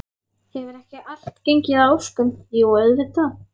Hefur ekki allt gengið að óskum, jú auðvitað.